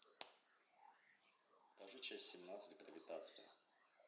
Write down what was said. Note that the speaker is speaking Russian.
покажи часть семнадцать гравитация